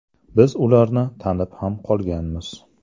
Biz ularni tanib ham qolganmiz.